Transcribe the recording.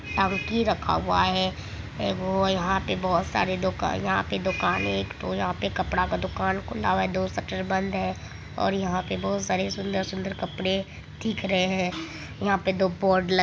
टंकी रखा हुआ है एक वो यहाँ पर कपड़ा की बहुत सारी दुकान है वो यहाँ पर कपड़ा का दूकान खुला हुआ है और यहाँ पर दो शटर बंद है और यहाँ पर बहुत सारे सुंदर-सुंदर कपड़े है दिख रहे है। वहां पर दो बोर्ड लगे--